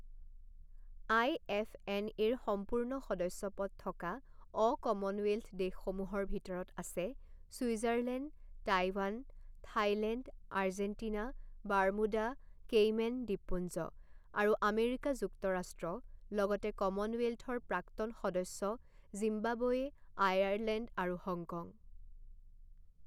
আই F N এৰ সম্পূৰ্ণ সদস্যপদ থকা অ কমনৱেল্থ দেশসমূহৰ ভিতৰত আছে Switzerland Taiwan Thailand Argentina Bermuda Cayman দ্বীপপুঞ্জ আৰু আমেৰিকা যুক্তৰাষ্ট্ৰ লগতে কমনৱেল্থৰ প্ৰাক্তন সদস্য জিম্বাবৱে' আয়াৰলেণ্ড আৰু হংকং।